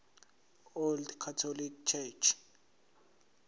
old catholic church